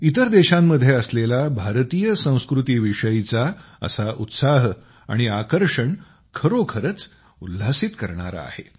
इतर देशांमध्ये असलेला भारतीय संस्कृतीविषयीचा असा उत्साह आणि आकर्षण खरोखरच उल्हासित करणारा आहे